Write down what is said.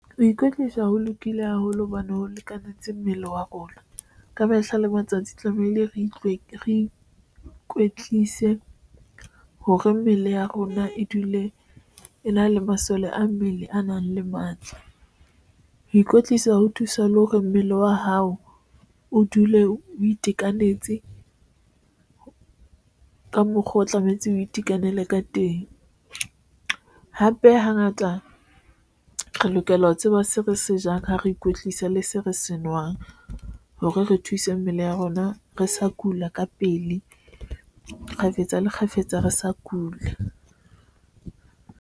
Ho ikwetlisa ho lokile haholo hobane ho lekanetseng mmele wa rona ka mehla le matsatsi tlamehile re utlwe re ikwetlise hore mmele ya rona e dule e na le masole a mmele a nang le matla. Ho ikwetlisa ho thusa le hore mmele wa hao o dule o itekanetse ka mokgwa, o tlametse o itekanela ka teng. Hape hangata re lokela ho tseba se re se jang ha re ikwetlisa le se re se nwang hore re thuse mmele ya rona re sa kula ka pele kgafetsa, le kgafetsa, re sa kula.